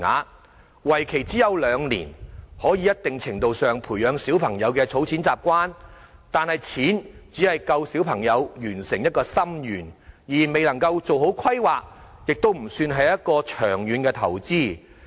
由於為期只有兩年，雖然可以在一定程度上培養小朋友的儲蓄習慣，但金額只足夠小朋友完成一個心願，而未能夠做好規劃，亦不算是長遠投資。